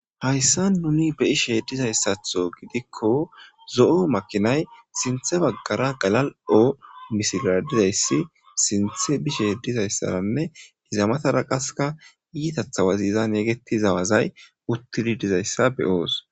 Hayse nuuni beyshe diza asaso gidikko zo'o makinay sintha baggara oge misilara diza issi, sintha bishe diza asaranne iza mathara qassika uttidi diza issa be'oos.